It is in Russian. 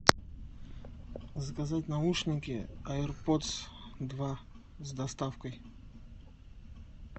заказать наушники аир подс два с доставкой